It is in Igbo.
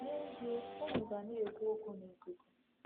N’ezie, unu ga na-ekwu okwu n'ikuku. ”